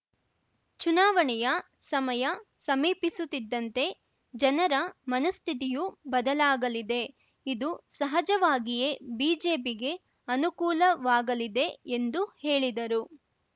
ಚುನಾವಣೆಯ ಸಮಯ ಸಮೀಪಿಸುತ್ತಿದ್ದಂತೆ ಜನರ ಮನಃಸ್ಥಿತಿಯೂ ಬದಲಾಗಲಿದೆ ಇದು ಸಹಜವಾಗಿಯೇ ಬಿಜೆಪಿಗೆ ಅನುಕೂಲವಾಗಲಿದೆ ಎಂದು ಹೇಳಿದರು